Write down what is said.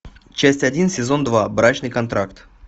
часть один сезон два брачный контракт